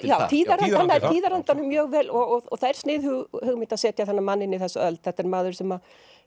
hann nær tíðarandanum mjög vel og það er sniðug hugmynd að setja þennan mann inn í þessa öld þetta er maður sem